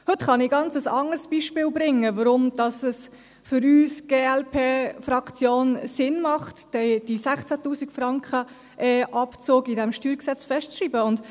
Heute kann ich ein ganz anderes Beispiel bringen, warum es für uns als Glp-Fraktion Sinn macht, den Abzug von 16’000 Franken in diesem StG festzuschreiben.